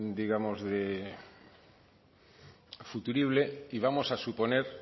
digamos de futurible y vamos a suponer